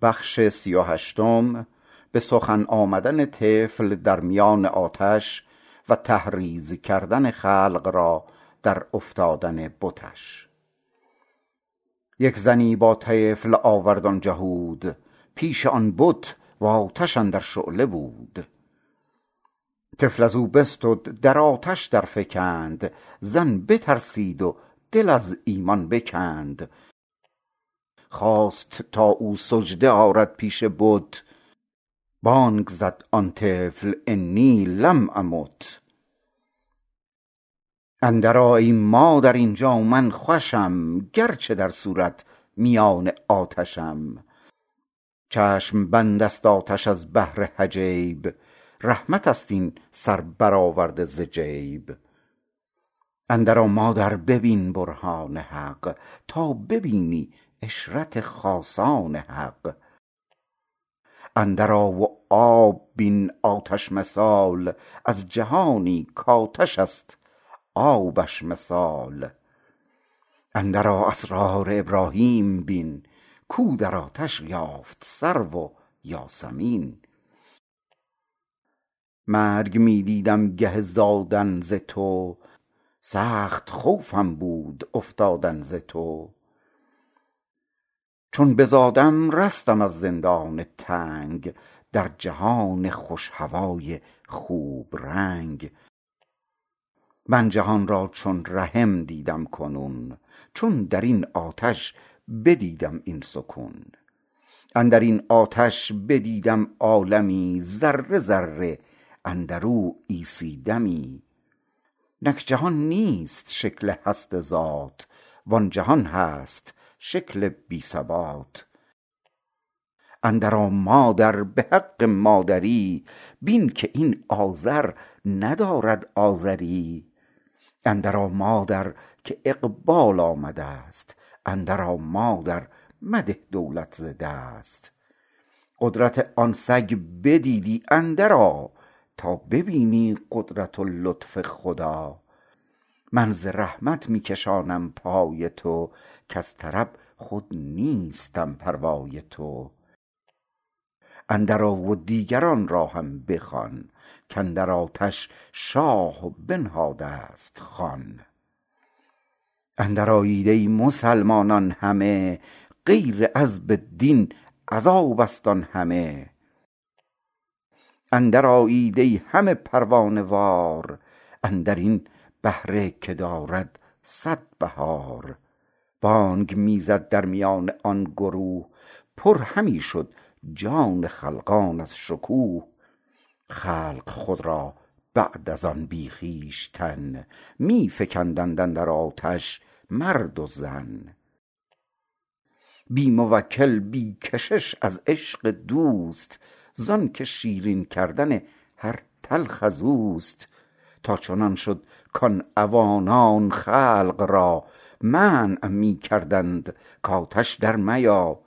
یک زنی با طفل آورد آن جهود پیش آن بت آتش اندر شعله بود طفل ازو بستد در آتش در فکند زن بترسید و دل از ایمان بکند خواست تا او سجده آرد پیش بت بانگ زد آن طفل إني لم أمت اندر آ ای مادر اینجا من خوشم گرچه در صورت میان آتشم چشم بندست آتش از بهر حجاب رحمتست این سر برآورده ز جیب اندر آ مادر ببین برهان حق تا ببینی عشرت خاصان حق اندر آ و آب بین آتش مثال از جهانی کآتش است آبش مثال اندر آ اسرار ابراهیم بین کو در آتش یافت سرو و یاسمین مرگ می دیدم گه زادن ز تو سخت خوفم بود افتادن ز تو چون بزادم رستم از زندان تنگ در جهان خوش هوای خوب رنگ من جهان را چون رحم دیدم کنون چون درین آتش بدیدم این سکون اندرین آتش بدیدم عالمی ذره ذره اندرو عیسی دمی نک جهان نیست شکل هست ذات و آن جهان هست شکل بی ثبات اندر آ مادر بحق مادری بین که این آذر ندارد آذری اندر آ مادر که اقبال آمدست اندر آ مادر مده دولت ز دست قدرت آن سگ بدیدی اندر آ تا ببینی قدرت و لطف خدا من ز رحمت می کشانم پای تو کز طرب خود نیستم پروای تو اندر آ و دیگران را هم بخوان کاندر آتش شاه بنهادست خوان اندر آیید ای مسلمانان همه غیر عذب دین عذابست آن همه اندر آیید ای همه پروانه وار اندرین بهره که دارد صد بهار بانگ می زد درمیان آن گروه پر همی شد جان خلقان از شکوه خلق خود را بعد از آن بی خویشتن می فکندند اندر آتش مرد و زن بی موکل بی کشش از عشق دوست زانک شیرین کردن هر تلخ ازوست تا چنان شد کان عوانان خلق را منع می کردند کآتش در میا